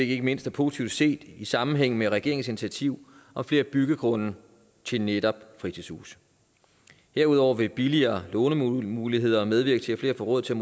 ikke mindst er positivt set i sammenhæng med regeringens initiativ om flere byggegrunde til netop fritidshuse derudover vil billigere lånemuligheder medvirke til at flere får råd til